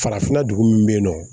Farafinna dugu min bɛ yen nɔ